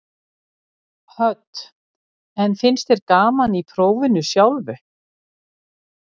Hödd: En finnst þér gaman í prófinu sjálfu?